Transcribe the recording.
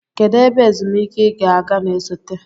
Kedu ebe ezumike ị ga-aga na-esote?